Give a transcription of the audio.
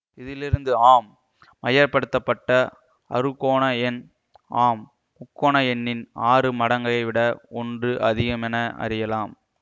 இதிலிருந்து ஆம் அயப்படுத்தப்பட்ட அறுகோண எண் ஆம் முக்கோண எண்ணின் ஆறு மடங்கை விட ஒன்று அதிகமென அறியலாம்